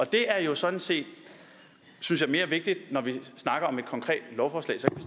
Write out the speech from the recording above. det er jo sådan set synes jeg mere vigtigt når vi snakker om et konkret lovforslag så kan